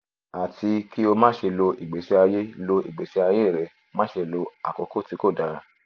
ati ki o ma ṣe lo igbesi aye lo igbesi aye rẹ ma ṣe lo akoko ti o dara